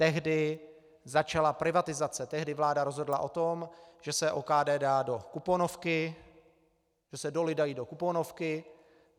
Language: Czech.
Tehdy začala privatizace, tehdy vláda rozhodla o tom, že se OKD dá do kuponovky, že se doly dají do kuponovky.